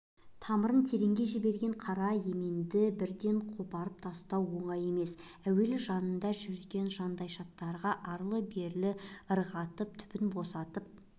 тамырын тереңге жіберген қара еменді бірден қопарып тастау оңай емес әуелі жанында жүрген жандайшаптарға арлы-берлі ырғатып түбін босатып